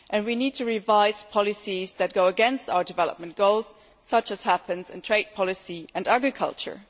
We need to revise policies that go against our development goals, as sometimes happens in trade policy and agriculture.